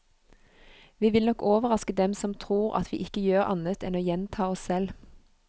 Vi vil nok overraske dem som tror at vi ikke gjør annet enn å gjenta oss selv.